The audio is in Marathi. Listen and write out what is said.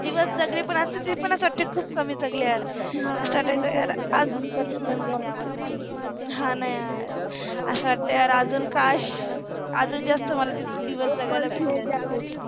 दिवस जगले पन ते पन खुप कमि जगले यार, हा न यार, अस वाटत अजुन यार अजुन काश अजुन जास्त मला ते दिवस जगायला भेटले असते